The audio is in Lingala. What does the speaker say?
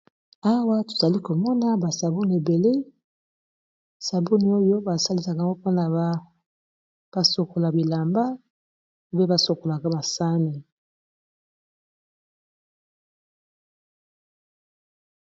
awa tozali komona basaboni ebele saboni oyo basalisaka mpona basokola bilamba mpe basokolaka masane